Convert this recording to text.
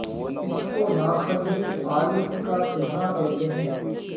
اس کو نا قدری عالم کا صلہ کہتے ہیں